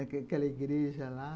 Aquela igreja lá.